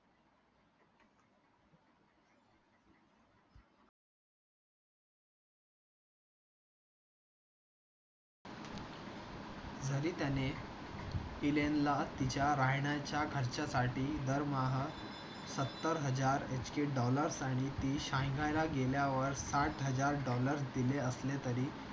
जरी त्याने इलेनला तिच्या राहण्याच्या खर्चासाठी दरमहा सत्तर हजार इतके डॉलर्स आणि ती चीनला गेल्यावर साथ हजार डॉलर्स दिले असले तरी